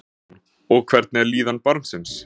Jóhann Jóhannsson: Og hvernig er líðan barnsins?